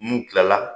N'u kilala